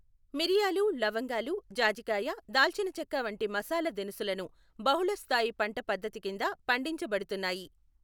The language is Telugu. మిరియాలు, లవంగాలు, జాజికాయ, దాల్చినచెక్క వంటి మసాలా దినుసులను బహుళ స్థాయి పంట పద్ధతి కింద పండించబడుతున్నాయి.